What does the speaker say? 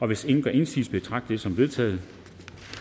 hvis ingen gør indsigelse betragter som vedtaget